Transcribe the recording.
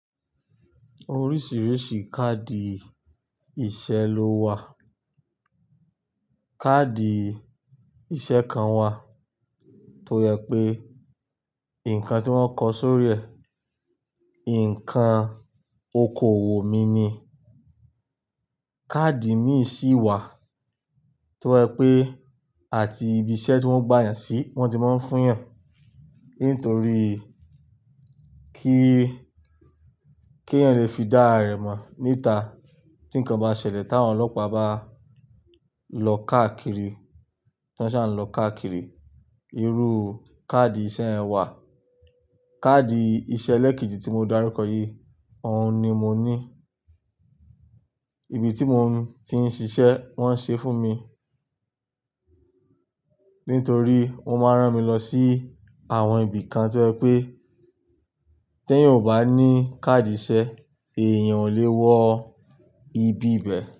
Oríṣìíríṣìí káàdì ìṣe ló wà. Kaadi ìṣe kan wà tó yẹ pé nǹkan tí wọ́n kọ sórí rẹ̀, nǹkan okoòwò mi ni. Kaadi míì sì wà tó jẹ pé àti ibi iṣẹ́ tí wọ́n gba èèyàn sí ni wọ́n ti máa ń fún èèyàn. Nítorí kí, kí èèyàn lè fi dá ara rẹ̀ mọ̀ níta tí nǹkan bá ṣẹlẹ̀ táwọn ọlọ́pàá bá lọ káàkiri, tí wọ́n ṣa ń lọ káàkiri. Irú káàdì ìṣe ẹ wà. Kaadi ìṣe lẹ́kìíji tí mo darukọ yìí, òun ni mo ní. Ibi tí mo ti ń ṣiṣẹ́ wọ́n ṣe fún mi. Nítorí ó máa rán mi lọ sí àwọn ibi kan tó yẹ pé, tí èèyàn ò bá ní káàdì ìṣe, èèyàn ò lè wọ ibi ibẹ̀